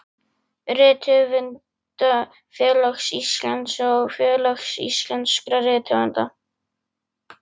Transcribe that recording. Rithöfundafélags Íslands og Félags íslenskra rithöfunda.